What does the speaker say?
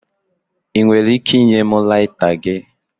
Ị nwere ike ịnye m laita gị?